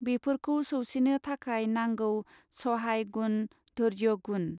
बेफोरखौ सौसिनो थाखाय नांगौ सहाय गुण धैर्यगुण.